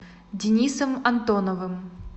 денисом антоновым